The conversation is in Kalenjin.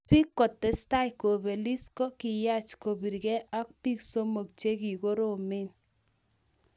Si kotestai kobelis ko kiyaach kobirgei ak biik somok che ki koromen